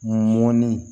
Ŋɔni